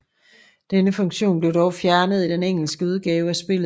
Denne funktion blev dog fjernet i den engelske udgave af spillet